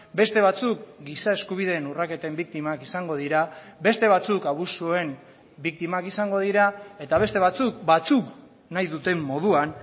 beste batzuk giza eskubideen urraketen biktimak izango dira beste batzuk abusuen biktimak izango dira eta beste batzuk batzuk nahi duten moduan